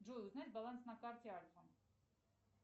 джой узнай баланс на карте альфа